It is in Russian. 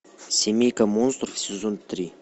семейка монстров сезон три